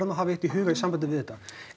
að hafa eitt í huga varðandi þetta